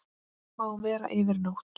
Má vera yfir nótt.